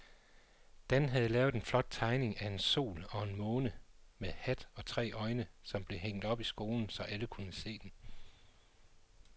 Dan havde lavet en flot tegning af en sol og en måne med hat og tre øjne, som blev hængt op i skolen, så alle kunne se den.